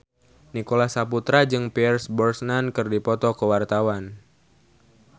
Nicholas Saputra jeung Pierce Brosnan keur dipoto ku wartawan